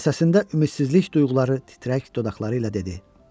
Və səsində ümidsizlik duyğuları titrək dodaqları ilə dedi: